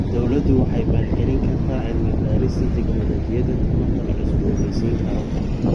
Dawladdu waxay maalgelin kartaa cilmi-baarista tignoolajiyada tamarta la cusboonaysiin karo.